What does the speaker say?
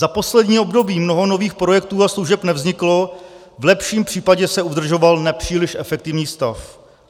Za poslední období mnoho nových projektů a služeb nevzniklo, v lepším případě se udržoval nepříliš efektivní stav.